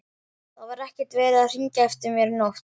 Það var ekkert verið að hringja eftir mér í nótt.